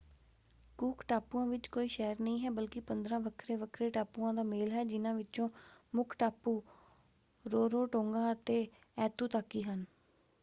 ਕੂਕ ਟਾਪੂਆਂ ਵਿੱਚ ਕੋਈ ਸ਼ਹਿਰ ਨਹੀਂ ਹੈ ਬਲਕਿ 15 ਵੱਖਰੇ-ਵੱਖਰੇ ਟਾਪੂਆਂ ਦਾ ਮੇਲ ਹਨ। ਜਿਨ੍ਹਾਂ ਵਿੱਚੋਂ ਮੁੱਖ ਟਾਪੂ ਰੋਰੋਟੋਂਗਾ ਅਤੇ ਐਤੂਤਾਕੀ ਹਨ।